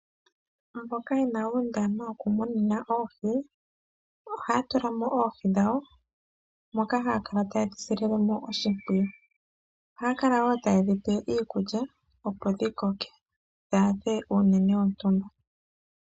Mboka yena uundama wokumuna oohi, ohaya tula mo oohi dhawo moka haya kala taye dhi sililemo oshimpwiyu. Ohaya kala wo taye dhi pe iikulya opo dhi koke dha adhe uunene wontumba.